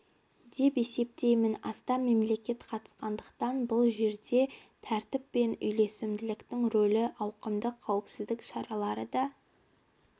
деп есептеймін астам мемлекет қатысқандықтан бұл жерде тәртіп пен үйлесімділіктің рөлі ауқымды қауіпсіздік шаралары да